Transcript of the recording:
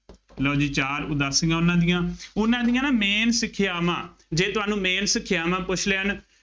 ਲਉ ਜੀ ਚਾਰ ਉਦਾਸੀਆਂ ਉਹਨਾ ਦੀਆਂ, ਉਹਨਾ ਦੀਆਂ ਨਾ main ਸਿੱਖਿਆਵਾਂ, ਜੇ ਤੁਹਾਨੂੰ main ਸਿੱਖਿਆਵਾਂ ਪੁੱਛ ਲਿਆ ਨਾ,